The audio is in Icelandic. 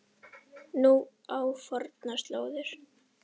Nú á fornar slóðir.